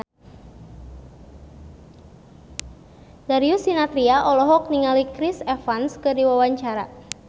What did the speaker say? Darius Sinathrya olohok ningali Chris Evans keur diwawancara